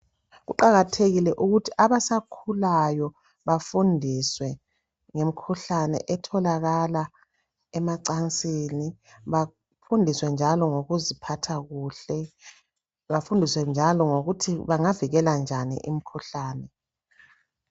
Kuqakathekile ukuthi abasakhulayo bafundiswe ngemikhuhlane etholakala emacansini. Bafundiswe njalo ngokuziphatha kuhle. Bafundiswe njalo ngokuthi bangavikela njani imikhuhlane.